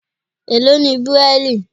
Èló ni Bíráílì?